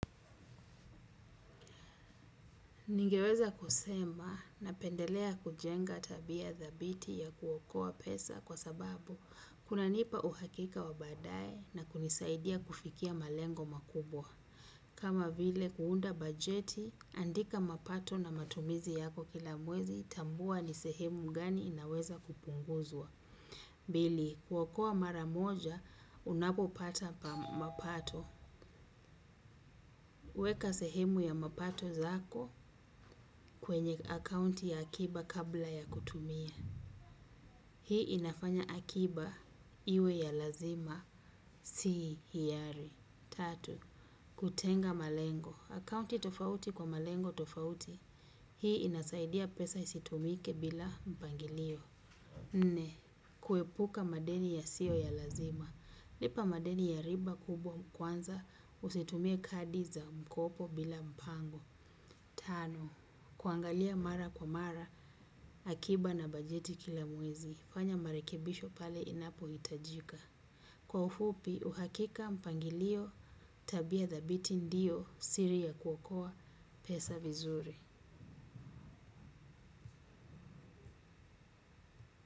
Ningeweza kusema napendelea kujenga tabia dhabiti ya kuokoa pesa kwa sababu kunanipa uhakika wa badaye na kunisaidia kufikia malengo makubwa. Kama vile kuunda bajeti, andika mapato na matumizi yako kila mwezi, tambua ni sehemu gani inaweza kupunguzua. Pili, kuokoa mara moja, unapopata mapato. Weka sehemu ya mapato zako kwenye akaunti ya hakiba kabla ya kutumia. Hii inafanya hakiba iwe ya lazima si hiari. Tatu, kutenga malengo. Akaunti tofauti kwa malengo tofauti. Hii inasaidia pesa isitumike bila mpangilio. Nne, kuepuka madeni yasiyo ya lazima. Lipa madeni ya riba kubwa kwanza usitumie kadi za mkopo bila mpamgo. Tano, kuangalia mara kwa mara, hakiba na bajeti kila mwezi, fanya marekebisho pale inapohitajika. Kwa ufupi uhakika mpangilio tabia dhabiti ndio siri ya kuokoa pesa vizuri.